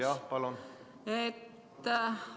Jah, mul on protseduuriline küsimus.